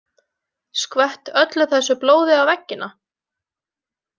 Skvett öllu þessu blóði á veggina?